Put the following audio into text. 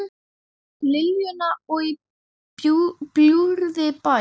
Liljuna og Í bljúgri bæn.